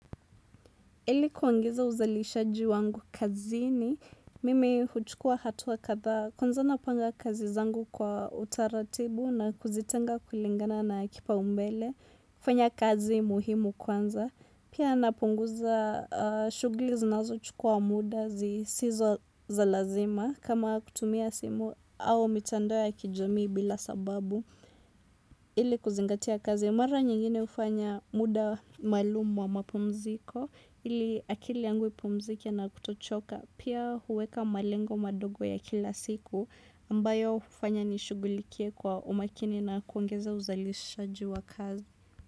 Ili kuongeza uzalishaji wangu kazini mimi huchukua hatua kadhaa kwanza napanga kazi zangu kwa utaratibu na kuzitenga kulingana na kipaumbele kufanya kazi muhimu kwanza pia napunguza shughuli zinazochukua muda zisizo za lazima kama kutumia simu au mitandao ya kijamii bila sababu ili kuzingatia kazi. Mara nyingine hufanya muda maalumu wa mapumziko ili akili yangu ipumzike na kutochoka pia huweka malengo madogo ya kila siku ambayo hufanya nishughulikie kwa umakini na kuongeza uzalishaji wa kazi.